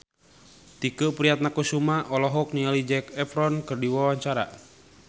Tike Priatnakusuma olohok ningali Zac Efron keur diwawancara